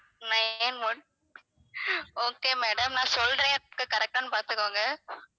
nine one okay madam நான் சொல்றேன் correct ஆன்னு பாத்துக்கோங்க